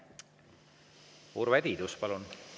Urve Tiidus, palun!